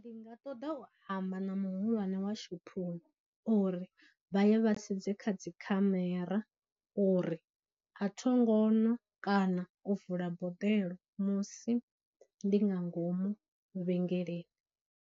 Ndi nga ṱoḓa u amba na muhulwane wa shophoni uri vha ye vhasedze kha dzikhamera uri a thonga nwa kana u vula boḓelo musi ndi nga ngomu vhengele.